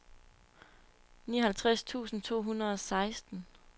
nioghalvtreds tusind to hundrede og seksten